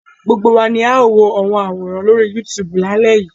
Gbogbo wa ni a ó wo àwọn àwòrán lórí YouTube lálẹ́ yìí.